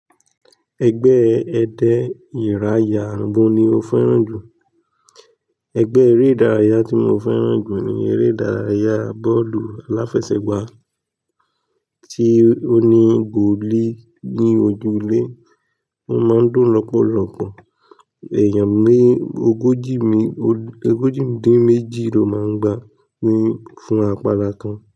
Ẹgbẹ́ èdè ìráyà gbọ̀n ni o fẹ́ràn jù. Ẹgbẹ́ eré ìdárayá tí mo fẹ́ràn jù ni eré ìdárayá bọ́ọ̀lù aláfẹsẹ̀gbá tí ó ní goalie ní ojúlé. Ó máa ń dùn lọ́pọ̀lọpọ̀ èèyàn ní ogójì mi-- ogójì dín méjì ló máa ń gba wí fún apala kan.